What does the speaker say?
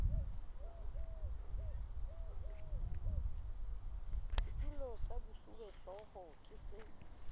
setulo sa bosuwehlooho ke se